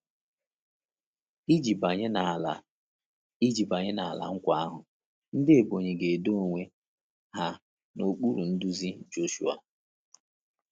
Iji banye n’Ala Iji banye n’Ala Nkwa ahụ, ndị Ebonyi ga-edo onwe ha n’okpuru nduzi Joshua.